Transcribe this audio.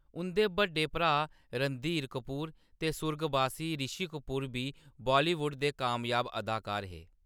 उंʼदे बड्डे भ्राऽ, रणधीर कपूर ते सुर्गबासी रिशी कपूर बी बॉलीवुड दे कामयाब अदाकार हे।